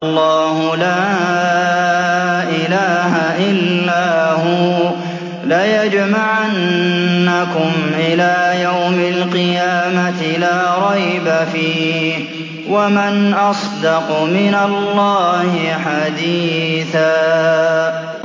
اللَّهُ لَا إِلَٰهَ إِلَّا هُوَ ۚ لَيَجْمَعَنَّكُمْ إِلَىٰ يَوْمِ الْقِيَامَةِ لَا رَيْبَ فِيهِ ۗ وَمَنْ أَصْدَقُ مِنَ اللَّهِ حَدِيثًا